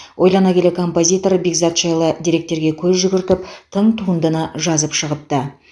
ойлана келе композитор бекзат жайлы деректерге көз жүгіртіп тың туындыны жазып шығыпты